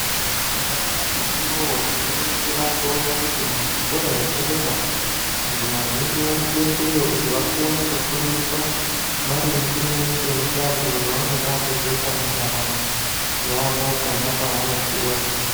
Nyamashi uno tinoningira towona kuti muzvikora zvepadera vantu vazhinji varikuendeyo kuti vakone kufundiswa maringe ngemushindo yavanoda kuzoita muntaramo yavo pona pavanokura.